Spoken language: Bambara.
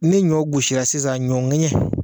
Ne ɲɔ gosira sisan ɲɔ ŋɛɲɛ